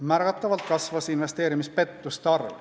Märgatavalt kasvas investeerimispettuste arv.